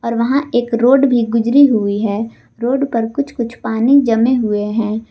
और वहां एक रोड भी गुजरी हुई है रोड पर कुछ कुछ पानी जमे हुए हैं।